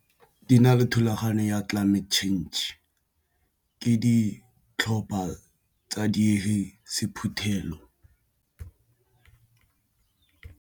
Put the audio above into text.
Di na le thulaganyo ya climate change ke ditlhopha tsa dire sephuthelo.